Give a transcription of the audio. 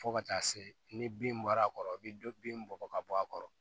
Fo ka taa se ni bin bɔra a kɔrɔ i bi dɔ bin bɔ ka bɔ a kɔrɔ